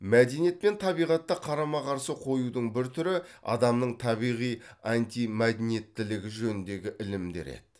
мәдениет пен табиғатты қарама қарсы қоюдың бір түрі адамның табиғи антимәдениеттілігі жөніндегі ілімдер еді